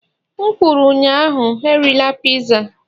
M kwuru ụnyaahụ, erila piza